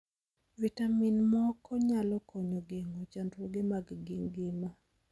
Vitamin moko nyalo konyo geng'o chandruoge mag gima.